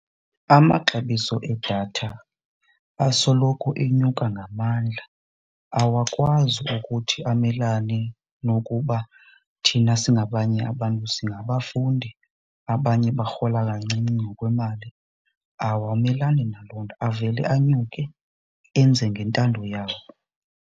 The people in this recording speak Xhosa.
Amaxabiso edatha asoloko enyuka ngamandla, awakwazi ukuthi amelane nokuba thina singabanye abantu singabafundi abanye barhola kancinci ngokwemali. Awamelani naloo nto avele anyuke enze ngentando yawo.